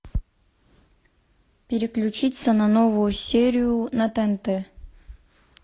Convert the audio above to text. переключиться на новую серию на тнт